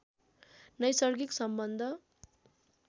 नैसर्गिक सम्बन्ध